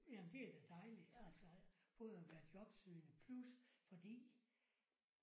Jamen det er da dejligt altså både at være jobsøgende plus fordi